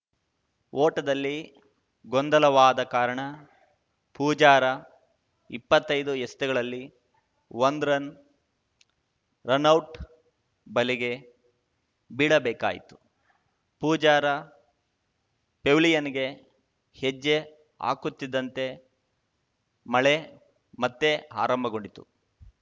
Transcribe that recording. ಓಟದಲ್ಲಿ ಗೊಂದಲವಾದ ಕಾರಣ ಪೂಜಾರ ಇಪ್ಪತ್ತೈದು ಎಸೆತಗಳಲ್ಲಿ ಒಂದು ರನ್‌ ರನೌಟ್‌ ಬಲೆಗೆ ಬೀಳಬೇಕಾಯಿತು ಪೂಜಾರ ಪೆವಿಲಿಯನ್‌ಗೆ ಹೆಜ್ಜೆ ಹಾಕುತ್ತಿದ್ದಂತೆ ಮಳೆ ಮತ್ತೆ ಆರಂಭಗೊಂಡಿತು